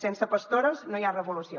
sense pastores no hi ha revolució